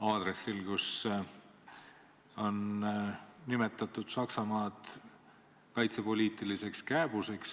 aadressil, kui ta nimetas Saksamaad kaitsepoliitiliseks kääbuseks.